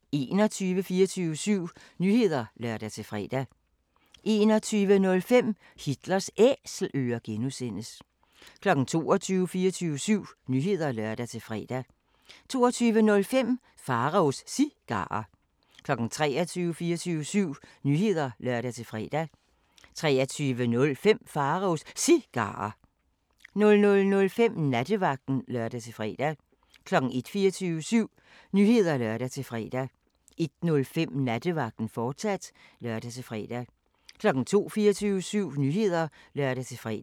21:00: 24syv Nyheder (lør-fre) 21:05: Hitlers Æselører (G) 22:00: 24syv Nyheder (lør-fre) 22:05: Pharaos Cigarer 23:00: 24syv Nyheder (lør-fre) 23:05: Pharaos Cigarer 00:05: Nattevagten (lør-fre) 01:00: 24syv Nyheder (lør-fre) 01:05: Nattevagten, fortsat (lør-fre) 02:00: 24syv Nyheder (lør-fre)